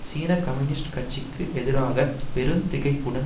சீன கம்யூனிஸ்ட் கட்சிக்கு எதிராக பெரும் திகைப்புடன்